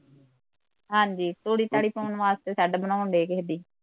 ਹਾਂਜੀ ਤੂੜੀ ਤਾੜੀ ਪਾਉਣ ਵਾਸਤੇ ਸ਼ੈਡ ਬਣਾਉਣ ਡਏ ਕਿਸੇ ਦੀ